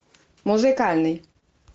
музыкальный